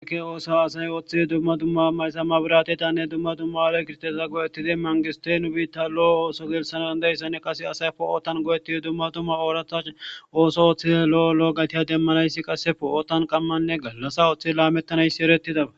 ekke ooso asay ooththi dumma dumma haysa mabiratetanne dumma dumma ale kirtesa go7ettidi mangisotey nu biitta lo7o ooso geelsanaan dayssane qase asay poo7ootan go7ettidi dumma dumma ooratha ooso ooththide lo7o lo7o gatiya demmanayssi qasse po7ootan qammanne gallasa ooththi laamettanaysi erettidaba